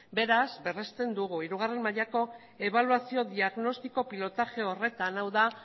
beraz berresten dugu hirugarrena mailako ebaluazio diagnostiko pilotaje horretan hau da